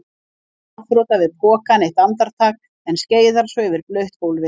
Stendur ráðþrota við pokann eitt andartak en skeiðar svo yfir blautt gólfið.